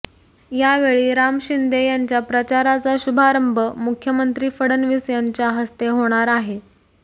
यावेळी राम शिंदे यांच्या प्रचाराचा शुभारंभ मुख्यमंत्री फडणवीस यांच्या हस्ते होणार आहे